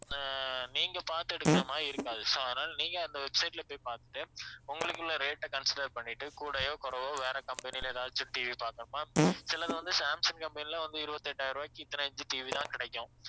அஹ் நீங்க பார்த்து எடுக்கிற மாதிரி இருக்காது so அதனால நீங்க அந்த website ல போய் பார்த்துட்டு உங்களுக்கு உள்ள rate அ consider பண்ணிட்டு கூடயோ குறையவோ வேற company ல எதாச்சும் TV பாருங்க ma'am சிலது வந்து சாம்சங் company லயே வந்து இருவத்தி எட்டாயிரம் ரூபாய்க்கு இத்தனை inch TV தான் கிடைக்கும்